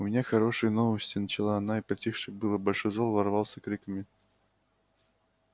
у меня хорошие новости начала она и притихший было большой зал взорвался криками